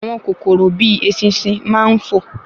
Àwọn kòkòrò bíi eṣinṣin máa n fo